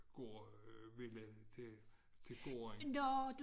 Gård ville til til gården